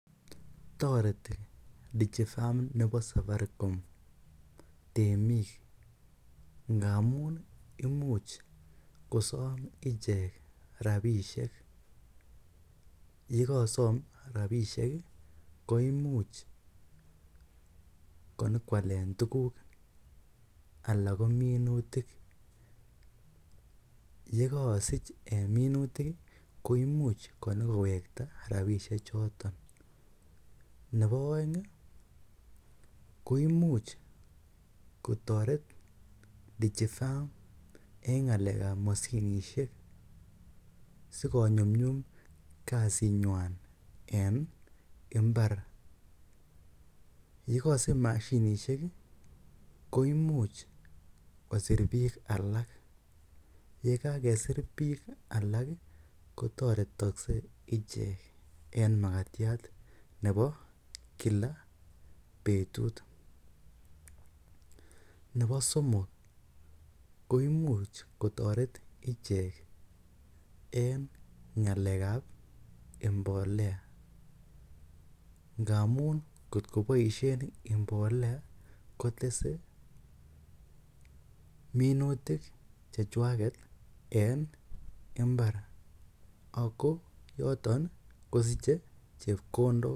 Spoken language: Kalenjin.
Toreti DigiFarm nebo Safaricom temik ngamun imuch kosom ichek rabishek ye kosom rabishek koimuch konyo koalen tuguk anan ko minutik. Ye kosich en minutik ii koimuch konyikowekat rabishek choto. Nebo oeng koimuch kotoret DigiFarm en ng'alek ab moshinishek sikonyumnyum kasit nywan en mbar. Ye kosich mashinishek koimuch kosir biik alak. Ye kagesir biik alak kotoretokse ichek en magatiat nebo kila betut. Nebo somok koimuch kotore ichek en ng'alekab ngamun kotko boisien mbolea kotese minutik chechwaget en mbar ago yoton kosiche chepkondok.